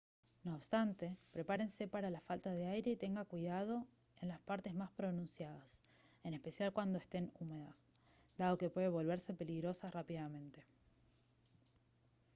no obstante prepárese para la falta de aire y tenga cuidado en las partes más pronunciadas en especial cuando estén húmedas dado que pueden volverse peligrosas rápidamente